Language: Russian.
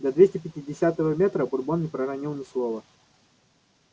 до двести пятидесятого метра бурбон не проронил ни слова